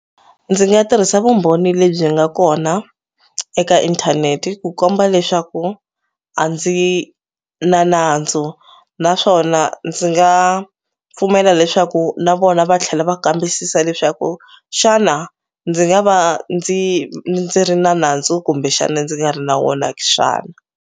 Ndzi nga tirhisa vumbhoni lebyi nga kona eka inthaneti ku komba leswaku a ndzi na nandzu naswona ndzi nga pfumela leswaku na vona va tlhela va kambisisa leswaku xana ndzi nga va ndzi ndzi ri na nandzu kumbexani ndzi nga ri na wona xana.